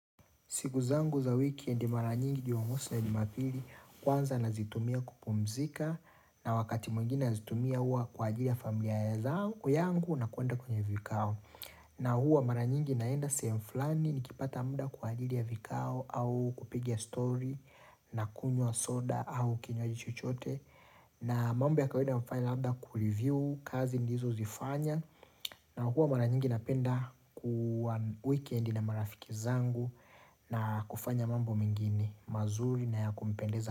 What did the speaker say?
Siku zangu za wikendi mara nyingi jumamosi na jumapili kwanza nazitumia kupumzika na wakati mwingine nazitumia huwa kwa ajili ya familia zangu yangu na kuenda kwenye vikao. Na huwa mara nyingi naenda sehemu fulani nikipata muda kwa ajili ya vikao au kupigia stori nakunywa soda au kinywaji chochote na mambo ya kawaida hufanya labda kureview kazi nilizozifanya na huwa mara nyingi napenda ku weekendi na marafiki zangu. Na kufanya mambo mengine mazuri na ya kunipendeza.